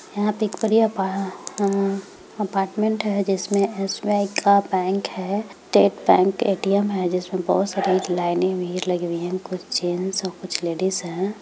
यहाँ पे एक अप्पार्टमेन्ट है जिसमे एस_बी_आई का बैंक है स्टेट बैंक ए_टी_एम है जिसमे बोहत सारे एक लाइने भी लगी हुई है कुछ जेंट्स और कुछ लेडीज है।